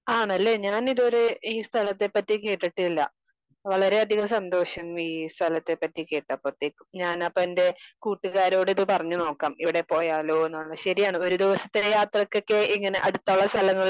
Speaker 2 ആണല്ലേ ഞാൻ ഇതുവരെഈ സ്ഥലത്തെ പറ്റി കേട്ടിട്ടില്ല. വളരെ അധികം സന്തോഷം ഈ സ്ഥലത്തെ പറ്റി കേട്ടപ്പത്തേക്കും. ഞാൻ അപ്പൊ എന്റെ കൂട്ടുകാരോട് ഇത് പറഞ്ഞ് നോക്കാം. ഇവിടെ പോയാലോന്ന്ള്ള. ശെരിയാണ് ഒരു ദിവസത്തിനുള്ള യാത്രക്കൊക്കെ ഇങ്ങനെ അടുത്തായ സ്ഥലങ്ങളില്